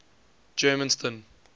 germiston